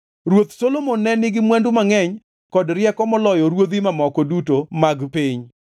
Ruoth Solomon ne nigi mwandu mangʼeny kod rieko moloyo ruodhi mamoko duto mag piny.